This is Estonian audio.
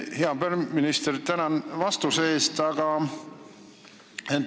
Hea peaminister, tänan vastuse eest!